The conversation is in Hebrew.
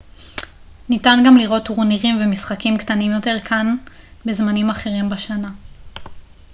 ניתן גם לראות טורנירים ומשחקים קטנים יותר כאן בזמנים אחרים בשנה